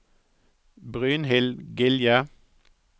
Brynhild Gilje